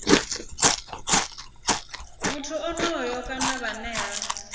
muthu onoyo kana vhane ha